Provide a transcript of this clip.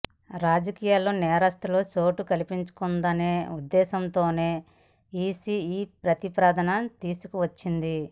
రాజకీయాల్లో నేరస్థులకు చోటు కల్పించకూడదనే ఉద్దేశంతోనే ఈసీ ఈ ప్రతిపాదన తీసుకువచ్చింది